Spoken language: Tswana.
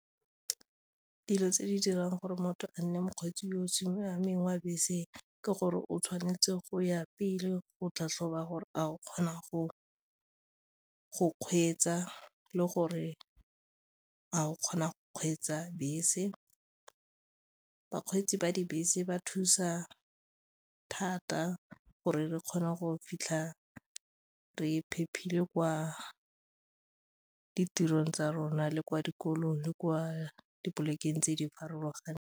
Dilo tse di dirang gore motho a nne mokgweetsi yo o siameng wa bese ke gore o tshwanetse go ya pele go tlhatlhoba gore a o kgona go kgweetsa le gore ga o kgona go kgweetsa bese, bakgweetsi ba dibese ba thusa thata gore re kgona go fitlha re kwa ditirong tsa rona le kwa dikolong le kwa dipolekeng tse di farologaneng.